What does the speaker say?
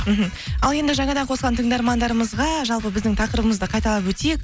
мхм ал енді жаңадан қосылған тыңдармандарымызға жалпы біздің тақырыбымызды қайталап өтейік